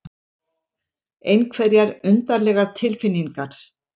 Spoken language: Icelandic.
Einhverjar undarlegar tilfinningar.